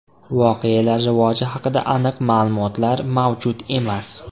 Voqealar rivoji haqida aniq ma’lumotlar mavjud emas.